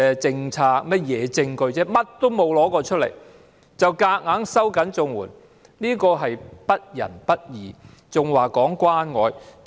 甚麼實證也沒有拿出來便強行收緊綜援門檻，這是不仁不義，還說關愛？